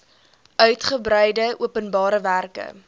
uigebreide openbare werke